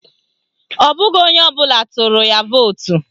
Ọ bụghị onye ọbụla tụrụ ya vootu